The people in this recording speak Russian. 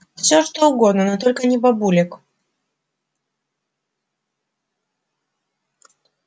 всё что угодно но только не бабулек